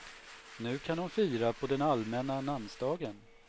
Nu kan hon fira på den allmänna namnsdagen.